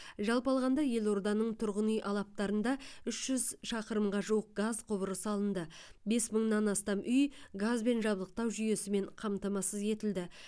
жалпы алғанда елорданың тұрғын үй алаптарында үш жүз шақырымға жуық газ құбыры салынды бес мыңнан астам үй газбен жабдықтау жүйесімен қамтамасыз етілді